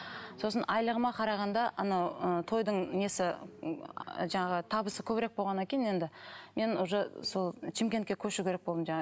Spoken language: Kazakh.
сосын айлығыма қарағанда анау ы тойдың несі жаңағы табысы көбірек болғаннан кейін енді мен уже сол шымкентке көшу керек болдым жаңа